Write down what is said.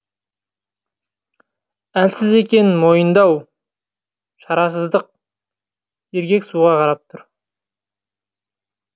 әлсіз екендігін мойындау шарасыздық еркек суға қарап тұр